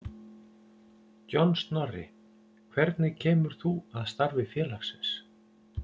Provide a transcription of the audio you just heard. John Snorri, hvernig kemur þú að starfi félagsins?